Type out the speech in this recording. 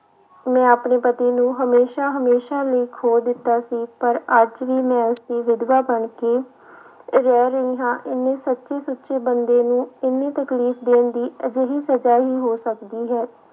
ਮੈਂ ਆਪਣੀ ਪਤੀ ਨੂੰ ਹਮੇਸ਼ਾ ਹਮੇਸ਼ਾ ਲਈ ਖੋਹ ਦਿੱਤਾ ਸੀ, ਪਰ ਅੱਜ ਵੀ ਮੈਂ ਉਸਦੀ ਵਿਦਵਾ ਬਣਕੇ ਰਹਿ ਰਹੀ ਹਾਂ, ਇੰਨੇ ਸੱਚੇ ਸੁੱਚੇ ਬੰਦੇ ਨੂੰ ਇੰਨੀ ਤਕਲੀਫ਼ ਦੇਣ ਦੀ ਅਜਿਹੀ ਸਜ਼ਾ ਹੀ ਹੋ ਸਕਦੀ ਹੈ।